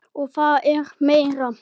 Og það er meira.